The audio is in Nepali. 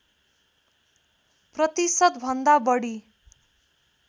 प्रतिशत भन्दा बढी